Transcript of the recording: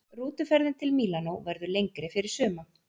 Rútuferðin til Mílanó verður lengri fyrir suma.